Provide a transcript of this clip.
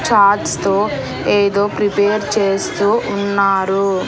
Charts తో ఏదో prepare చేస్తూ ఉన్నారు.